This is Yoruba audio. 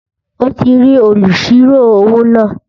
Ó ti rí olùsirò-owó náà